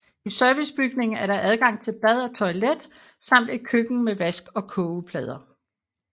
I servicebygningen er der adgang til bad og toilet samt et køkken med vask og kogeplader